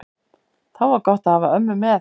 Þá var gott að hafa ömmu með.